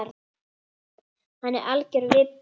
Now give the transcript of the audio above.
Hann er algjör vibbi.